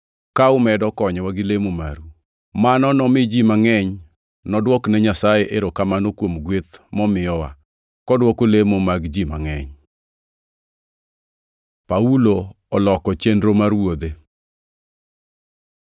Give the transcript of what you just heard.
ka umedo konyowa gi lemo maru. Mano nomi ji mangʼeny nodwokne Nyasaye erokamano kuom gweth momiyowa, kodwoko lemo mag ji mangʼeny. Paulo oloko chenro mar wuodhe